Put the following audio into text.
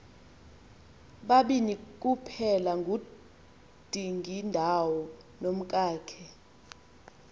babini kuphelangudingindawo nomkakhe